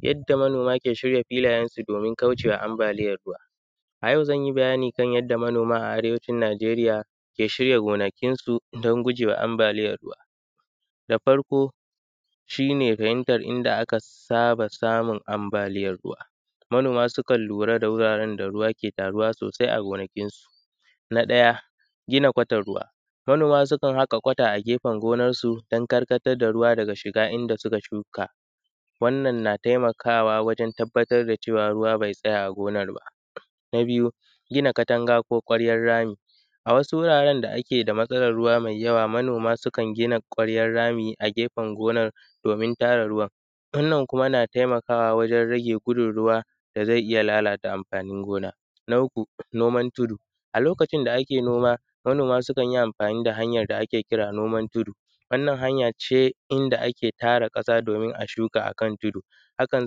Yadda manoma suke shirya gonakinsu domin gujewa anbaliyan ruwa. A yau zan yi bayani akan yanda manoma a arewacin Nageriya suke shirya gonakinsu don gujewa anbaliyan ruwa, na farko shi ne fahimatan inda aka saba samun anbaliyan ruwa, manoma sukan lura da wuraren da ruwa ke taruwa na gonakinsu, na ɗaya gina kwatan ruwa manoma sukan haƙa kwata a gefen gonansu don karkatar da ruwa daga shiga inda suka shuka wannan na taimakawa wajen tabbatar da cewa ruwa be tsaya a gonan ba. Na biyu gina katanga ko kwaryan rami a wasu wuraren da ake da matsalan ruwa mai yawa. Manoma suakan gina kwaryan rami a gefen gonan domin tara ruwa wannan na taimakawa wajen rage gudun ruwan da zai iya lalata anfanin gona na, uku noman tudu a lokacin da ake noma manona sukan yin anfani da noaman da ake kira noman tudu wannan hanya ce inda ake tara ƙasa domin a shuka akan tudu, haka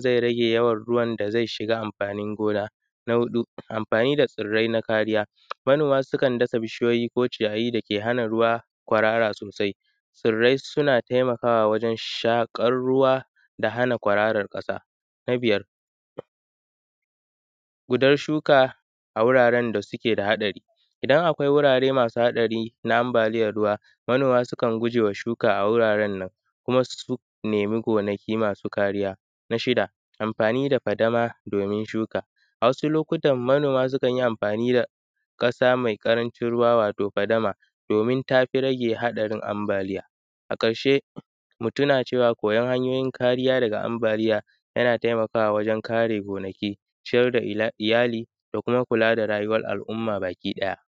zai rage yawan ruwan da zai shiga anfanin gona, na huɗu anfani da tsirrai na kariya, manoma sukan dasa bishiyoyi ko ciyayi da kan hana kwarara sosai, tsirrai suna taimakwa wajen shaƙan ruwa da hana kwararan ƙasa. Na biyar gudar shuka a wuraren da suke da hatsari idan akwai wurare masu hatsari na anbaliyan ruwa, manoma sukan gujewa shuka a wuraren nan kuma su nemi gonaki masu kariya na shida anfani da fadama domin shuka. A wasu lokutan manoma sukan yi amfani da ƙasa me ƙarancin ruwa wato fadama domin tafi rage haɗarin anbaliya. A ƙarshe mu tina cewa kuyan hanyoyin lkariya daga anbaliya yana taimakawa wajen kare gonaki, ciyar da iyali da kuma kula da rayuwan al’umma bakiɗaya.